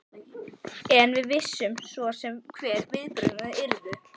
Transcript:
En við vissum svo sem hver viðbrögðin yrðu.